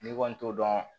N'i kɔni t'o dɔn